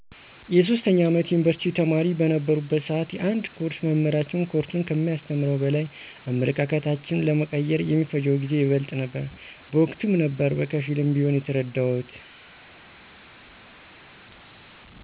የ3ኛ አመት የዩኒቭርሲቲ ተማሪ በነበረሁበት ስዓት የአንድ ኮርስ መምህራችን ኮርሱን ከሚያስተምረው በላይ አመለካከታችን ለመቀየር የሚፈጀው ጊዜ ይበልጥ ነበረ። በወቅቱም ነበር በከፊልም ቢሆን የተረደሁት።